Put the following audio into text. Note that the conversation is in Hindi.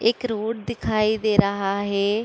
एक रोड दिखाई दे रहा है।